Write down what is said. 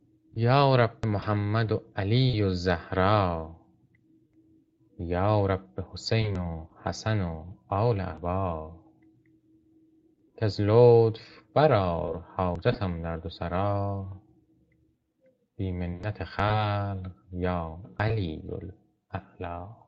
یا رب به محمد و علی و زهرا یا رب به حسین و حسن و آل عبا کز لطف برآر حاجتم در دو سرا بی منت خلق یا علی الأعلیٰ